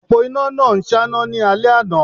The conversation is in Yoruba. Òpó iná náà ń ṣáná ní alẹ́ àná